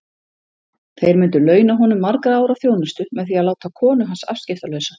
Þeir myndu launa honum margra ára þjónustu með því að láta konu hans afskiptalausa.